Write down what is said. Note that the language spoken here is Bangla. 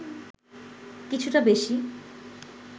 কিছুটা বেশি